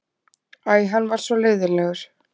Æ, hann var svo leiðinlegur.